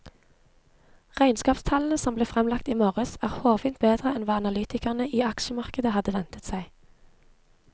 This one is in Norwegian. Regnskapstallene som ble fremlagt i morges er hårfint bedre enn hva analytikerne i aksjemarkedet hadde ventet seg.